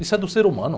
Isso é do ser humano.